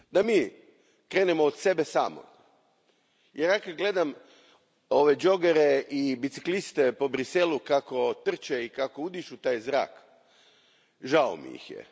Da mi krenemo od sebe samih jer ja kad gledam ove džogere i bicikliste po Bruxellesu kako trče i kako udišu taj zrak, žao mi ih je.